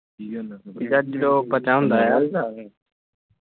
ਜਦੋਂ ਬੱਚਾ ਹੁੰਦਾ ਆ ।